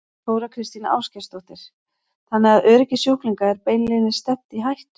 Þóra Kristín Ásgeirsdóttir: Þannig að öryggi sjúklinga er beinlínis stefnt í hættu?